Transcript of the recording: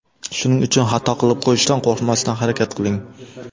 Shuning uchun xato qilib qo‘yishdan qo‘rqmasdan, harakat qiling!